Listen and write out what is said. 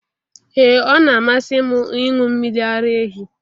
Ee ọ na-amasị m ịṅụ mmiri ara ehi